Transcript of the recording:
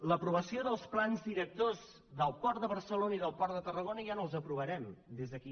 l’aprovació dels plans directors del port de barcelona i del port de tarragona ja no els aprovarem des d’aquí